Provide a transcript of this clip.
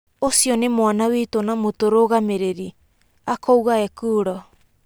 ũcio nĩ mwana witũ na mũtũrũgamĩrĩrĩ," akauga Ekuro.